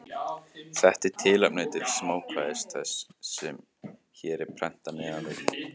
Þetta er tilefni til smákvæðis þess, sem hér er prentað neðan við.